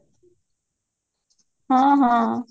ହଁ ହଁ